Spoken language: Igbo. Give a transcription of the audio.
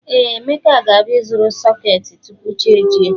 Ee, Emeka ga-abịa ịzụrụ sọketi tupu chi ejie